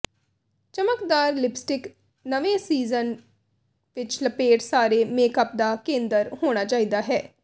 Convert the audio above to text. ਚਮਕਦਾਰ ਲਿਪਸਟਿਕ ਨਵੇਂ ਸੀਜ਼ਨ ਵਿਚ ਲਪੇਟ ਸਾਰੇ ਮੇਕਅਪ ਦਾ ਕੇਂਦਰ ਹੋਣਾ ਚਾਹੀਦਾ ਹੈ